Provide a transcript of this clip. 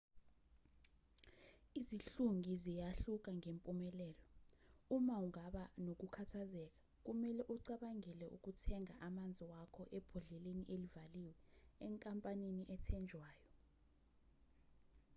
izihlungi ziyahluka ngempumelelo uma ungaba nokukhathazeka kumelwe ucabangele ukuthenga amanzi wakho ebhodleni elivaliwe enkampanini ethenjwayo